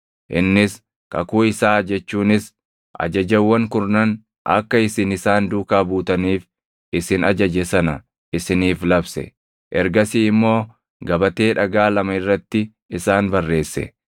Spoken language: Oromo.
Innis kakuu isaa jechuunis Ajajawwan Kurnan akka isin isaan duukaa buutaniif isin ajaje sana isiniif labse. Ergasii immoo gabatee dhagaa lama irratti isaan barreesse.